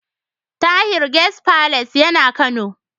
Tahir Guest Palace yana Kano.